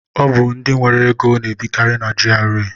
Ọ bụ ndị nwere ego na-ebikari na GRA.